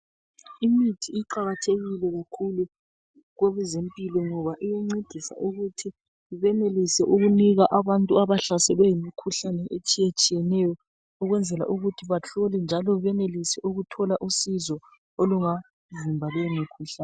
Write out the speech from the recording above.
Imithi iqakathekile kakhulu kwabezempilo, ngoba iyancedisa ukuthi benelise ukunika abantu abahlaselwe yimikhuhlane etshiyatshiyeneyo .Ukwenzela ukuthi bahlolwe njalo benelise ukuthi bathole usizo olungavimba leyo mikhuhlane.